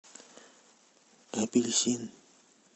апельсин